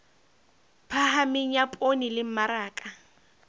phahameng ya poone le mmaraka